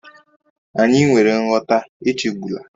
Anyị nwere nghọta, echegbula